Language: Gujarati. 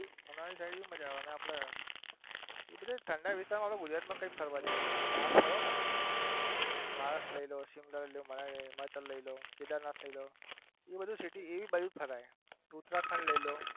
મનાલી side પણ મજા આવે અને આપડે એ બધા ઠંડા વિસ્તાર માં તો ગુજરાત માં કઈ ફરવા જેવું નથી. આપડે બાર ફરો, ને મહારાષ્ટ લઈ લો, સિમલા લઈ લો, મનાલી, હિમાચલ લઈ લો, કેદારનાથ લઈ લો, એ બધું city એ બાજુ જ ફરાય. ઉત્તરાખંડ લઈ લો.